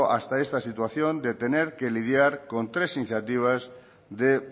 hasta esta situación de tener que lidiar con tres iniciativas de